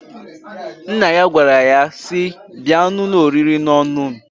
Nna ya gwara nnyaa si,"Bịa n'ụlọ oriri n'ọṅụṅ!"